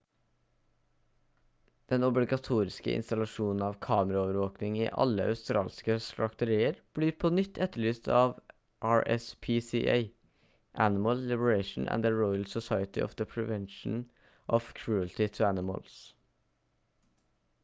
den obligatoriske installasjonen av kameraovervåkning i alle australske slakterier blir på nytt etterlyst av rspca animal liberation and the royal society for the prevention of cruelty to animals